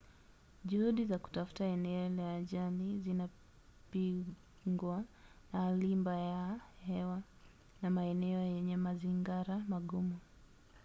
juhudi za kutafuta eneo la ajali zinapingwa na hali mbaya ya hewa na maeneo yenye mazingara magumu